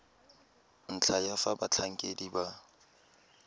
ntlha ya fa batlhankedi ba